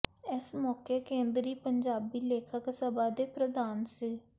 ਇਸ ਮੌਕੇ ਕੇਂਦਰੀ ਪੰਜਾਬੀ ਲੇਖਕ ਸਭਾ ਦੇ ਪ੍ਰਧਾਨ ਸ